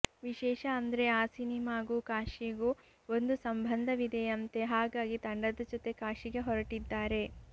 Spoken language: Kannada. ವಿಶೇಷ ಅಂದ್ರೆ ಆ ಸಿನಿಮಾಗು ಕಾಶಿಗೂ ಒಂದು ಸಂಬಂಧವಿದೆಯಂತೆ ಹಾಗಾಗಿ ತಂಡದ ಜೊತೆ ಕಾಶಿಗೆ ಹೊರಟಿದ್ದಾರೆ